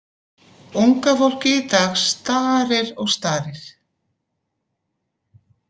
Unga fólkið í dag starir og starir.